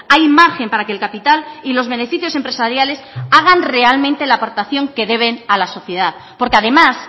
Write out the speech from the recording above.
hay margen para que el capital y los beneficios empresariales hagan realmente la aportación que deben a la sociedad porque además